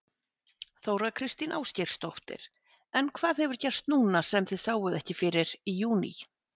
Þóra Kristín Ásgeirsdóttir: En hvað hefur gerst núna sem þið sáuð ekki fyrir í júní?